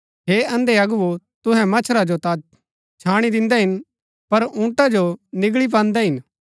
हे अंधे अगुवो तुहै मच्छरा जो ता छाणी दिन्दै हिन पर ऊँटा जो निगळी पान्दै हिन